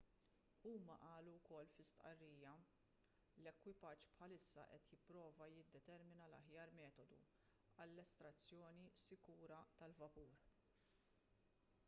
huma qalu wkoll fi stqarrija l-ekwipaġġ bħalissa qed jipprova jiddetermina l-aħjar metodu għall-estrazzjoni sikura tal-vapur